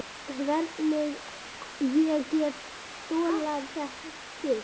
Hvernig ég get þolað þig?